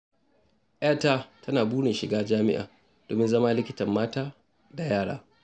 Yata tana burin shiga jami'a domin zama likitan mata da yara.